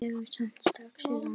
Dregur samt strax í land.